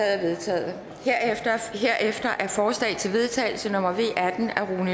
er vedtaget herefter er forslag til vedtagelse nummer v